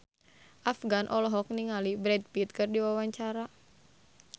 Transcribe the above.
Afgan olohok ningali Brad Pitt keur diwawancara